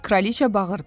Kraliça bağırdı.